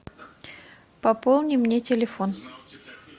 пополни мне телефон